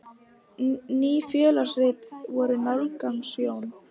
Ný félagsrit voru málgagn Jóns.